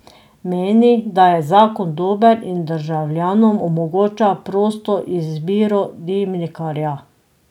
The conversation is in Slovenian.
Meni, da je zakon dober in državljanom omogoča prosto izbiro dimnikarja.